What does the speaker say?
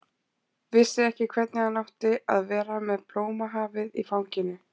Vissi ekki hvernig hann átti að vera með blómahafið í fanginu.